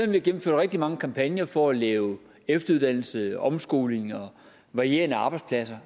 vi har gennemført rigtig mange kampagner for at lave efteruddannelse omskoling og varierende arbejdspladser